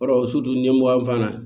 Yɔrɔ ɲɛmugan fana